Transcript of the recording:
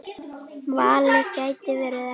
Valið gæti verið erfitt.